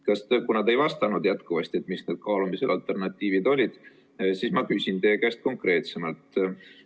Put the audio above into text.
Kuna te jätkuvalt ei vastanud, mis alternatiivid kaalumisel olid, siis ma küsin teie käest konkreetsemalt.